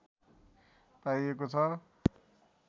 पाइएको छ